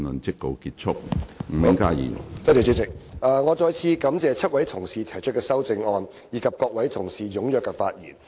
主席，我再次感謝7位同事提出修正案，以及各位同事踴躍發言。